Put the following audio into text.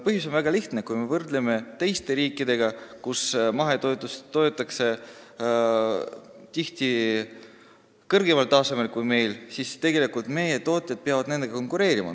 Põhjus on väga lihtne: kui me võrdleme end teiste riikidega, siis seal on mahetoetused tihti kõrgemal tasemel kui meil, ja meie tootjad peavad nendega konkureerima.